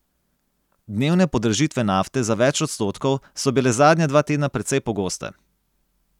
Dnevne podražitve nafte za več odstotkov so bile zadnja dva tedna precej pogoste.